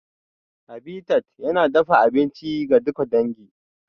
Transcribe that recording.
Habitat yana dafa abinci ga duka dangi